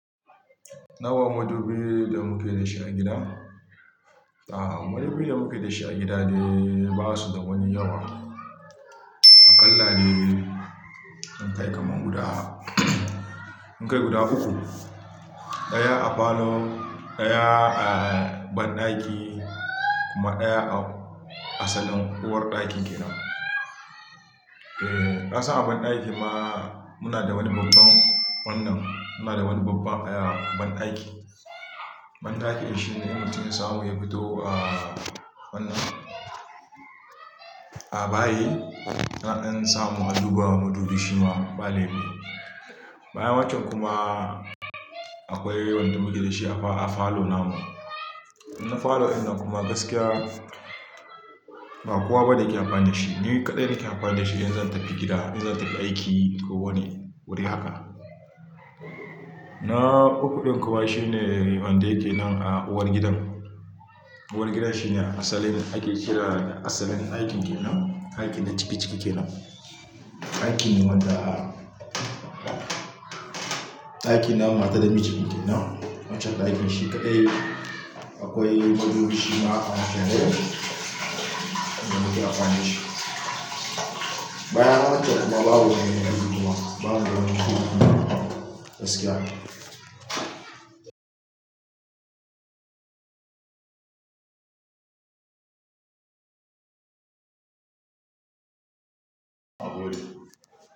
Nawa madubi da muke da shi a gida? Aaa, madubi da muke da shi a gida dai ba su da wani yawa. A kalla dai mun kai kamar guda, mun kai guda uku. Ɗaya a falo, ɗaya a banɗaki, kuma ɗaya a asalin uwarɗakin ke nan. Eeh, kasan a banɗaki ma muna da wani babban wannan, muna da wani babban ayya, banɗaki. Banɗakin shi ne in mutum ya samu ya fito, ah wannan, a bayi, naɗan samu na duba madubi shima ba laifi. Bayan waccen kuma, akwai wanda muke da shi a fa-a falo namu. Na falo wannan kuma gaskiya, ba kowa ba da yake amfani da shi. Ni kaɗai nake amfani da shi in za ta fi gida, in zan ta fi aiki, ko wani wuri haka. Na uku ɗin kuma shine, wanda yake nan a uwar gidan. Uwar gida shi ne a asalin ake kira asalin ɗakin ke nan, ɗakin da ciki-ciki ke nan. Ɗakin wanda ɗakin na ma ta da mijinta ke nan. Wancen ɗakin shi kaɗai, akwai madubi shima aka ajiye, da muke amfani da shi. Bayan waccen kuma babu wani madubi kuma, babu, gaskiya a wuri.